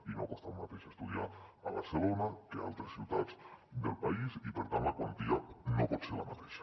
i no costa el mateix estudiar a barcelona que a altres ciutats del país i per tant la quantia no pot ser la mateixa